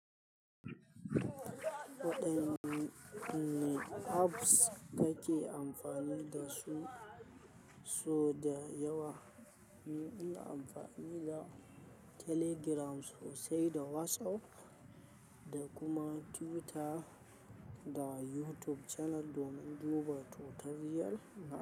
Waɗanne apps kake amfani da su? So da yawa, ni ina amfani da Telegram sosai da WhatsApp da kuma Twitter da YouTube channel domin duba tutorial na.